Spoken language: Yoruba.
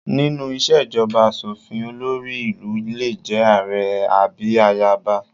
Nínú ìṣèjọba aṣòfin, olórí ìlú lè jẹ́ ààrẹ àbí ayaba